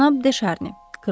Cənab De Şarni.